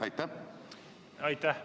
Aitäh!